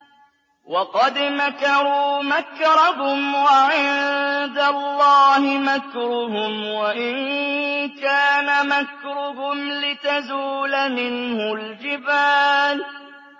وَقَدْ مَكَرُوا مَكْرَهُمْ وَعِندَ اللَّهِ مَكْرُهُمْ وَإِن كَانَ مَكْرُهُمْ لِتَزُولَ مِنْهُ الْجِبَالُ